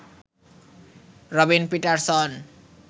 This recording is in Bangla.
রবিন পিটারসন